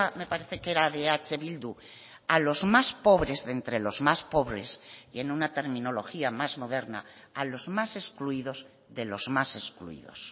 me parece que era de eh bildu a los más pobres de entre los más pobres y en una terminología más moderna a los más excluidos de los más excluidos